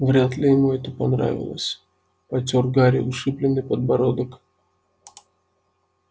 вряд ли ему это понравилось потёр гарри ушибленный подбородок